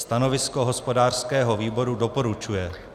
Stanovisko hospodářského výboru - doporučuje.